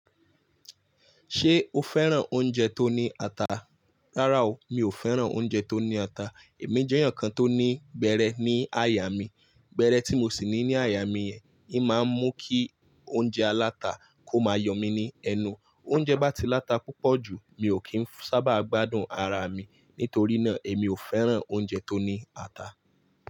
Ṣé o fẹ́ràn oúnjẹ tó ní ata? Rárá o, mi ò fẹ́ràn oúnjẹ tó ní ata. Èmi jẹ́ èèyàn kan tó ní gbẹ́rẹ́ ní àyà mí, gbẹ́rẹ́ tí mo sì ní ní àyà mí yẹn, i máa ń mú kí oúnjẹ aláta kó máa yọ mí ní ẹnu. Oúnjẹ bá ti láta púpọ̀ jù, mi ò kì í sábà gbádùn ara mi. Nítorí náà, èmi ò fẹ́ràn oúnjẹ tó ní ata.